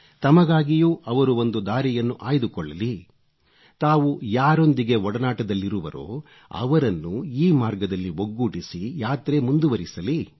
ತಮಗಾಗಿಯೂ ಅವರು ಒಂದು ದಾರಿಯನ್ನು ಆಯ್ದುಕೊಳ್ಳಲಿ ತಾವು ಯಾರೊಂದಿಗೆ ಒಡನಾಟದಲ್ಲಿರುವರೋ ಅವರನ್ನು ಈ ಮಾರ್ಗದಲ್ಲಿ ಒಗ್ಗೂಡಿಸಿ ಯಾತ್ರೆ ಮುಂದುವರಿಸಲಿ